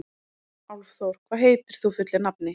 Álfþór, hvað heitir þú fullu nafni?